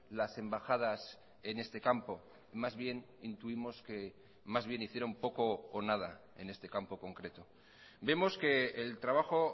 las embajadas en este campo más bien intuimos que más bien hicieron poco o nada en este campo concreto vemos que el trabajo